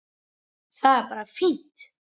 Það er bara fínt!